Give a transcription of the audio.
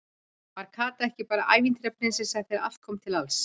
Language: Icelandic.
Var Kata ekki bara ævintýra- prinsessa þegar allt kom til alls?